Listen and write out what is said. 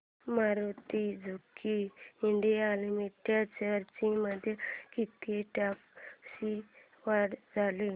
Maruti Suzuki India limited shares मध्ये किती टक्क्यांची वाढ झाली